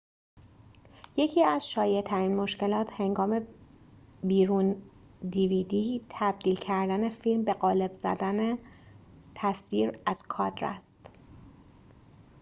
یکی از شایع‌ترین مشکلات هنگام تبدیل کردن فیلم به قالب dvd بیرون زدن تصویر از کادر است